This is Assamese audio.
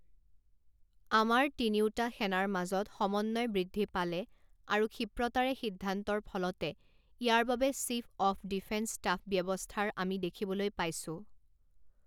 আমাৰ তিনিওটা সেনাৰ মাজত সমন্বয় বৃদ্ধি পালে আৰু ক্ষিপ্ৰতাৰে সিদ্ধান্তৰ ফলতে ইয়াৰ বাবে চীফ অৱ ডিফেন্স ষ্টাফ ব্যৱস্থাৰ আমি দেখিবলৈ পাইছো।